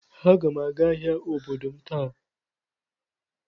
Aga m aga ahịa obodo m taa.